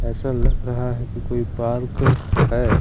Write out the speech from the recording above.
ऐसा लग रहा है कि कोई पार्क है।